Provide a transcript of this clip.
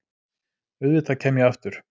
Auðvitað kem ég aftur.